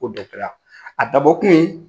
Ko dɛsɛra. A dabɔ kun ye